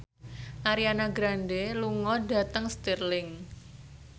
Ariana Grande lunga dhateng Stirling